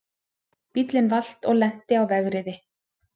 Bíllinn valt og lenti á vegriði